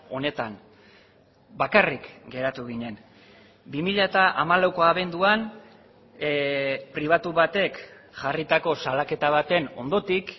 honetan bakarrik geratu ginen bi mila hamalauko abenduan pribatu batek jarritako salaketa baten ondotik